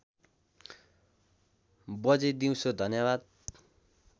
बजे दिउसो धन्यवाद